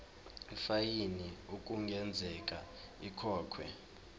ifayini okungenzeka ikhokhwe